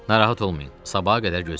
Narahat olmayın, sabaha qədər gözləyək.